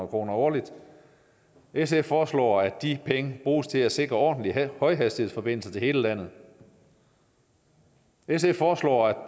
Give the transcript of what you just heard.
kroner årligt sf foreslår at de penge bruges til at sikre ordentlige højhastighedsforbindelser til hele landet sf foreslår at